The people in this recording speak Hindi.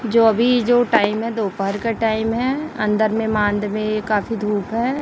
जो अभी जो टाइम है दोपहर का टाइम है अन्दर में मान्द में ये काफ़ी धूप है।